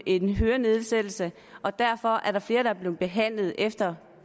en hørenedsættelse og derfor er der flere der er blevet behandlet efter